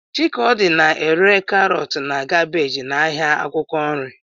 Chikodi na-ere karọt na kabeeji n'ahịa akwụkwọ nri.